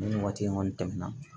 Nin waati in kɔni tɛmɛna